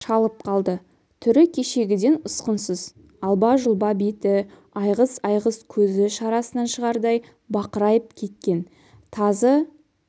шалып қалды түрі кешегіден ұсқынсыз алба-жұлба беті айғыз-айғыз көзі шарасынан шығардай бақырайып кеткен тазы